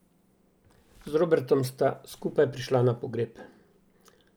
Z Robertom sta skupaj prišla na pogreb.